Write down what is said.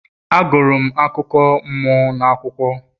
Agụrụ m akụkọ mmụọ n'akwụkwọ